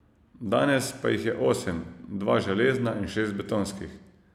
Danes pa jih je osem, dva železna in šest betonskih.